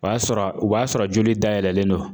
O y'a sɔrɔ o b'a sɔrɔ joli dayɛlɛlen don.